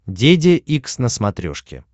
деде икс на смотрешке